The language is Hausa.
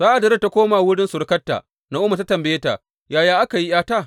Sa’ad da Rut ta koma wurin surukarta Na’omi ta tambaye ta Yaya aka yi ’yata?